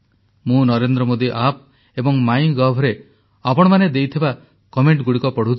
ମୁଁ ନରେନ୍ଦ୍ର ମୋଦୀ ଆପ୍ ଏବଂ MyGov ରେ ଆପଣମାନେ ଦେଇଥିବା କମେଂଟଗୁଡ଼ିକ ପଢ଼ୁଥିଲି